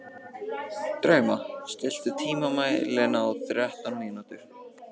Drauma, stilltu tímamælinn á þrettán mínútur.